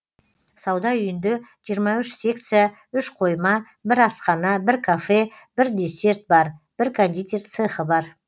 сауда үйінде жиырма үш секция үш қойма бір асхана бір кафе бір десерт бар бір кондитер цехы бар